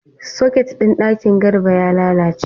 Soket ɗin ɗaki Garba ya lalace.